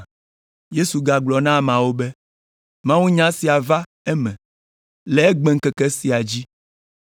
Yesu gagblɔ na ameawo be, “Mawunya sia va eme le egbeŋkeke sia dzi.”